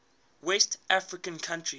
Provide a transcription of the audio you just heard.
west african countries